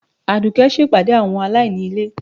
Adùké ṣe pàdé àwọn alaíní ilé